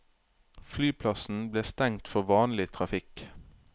Flyplassen ble stengt for vanlig trafikk.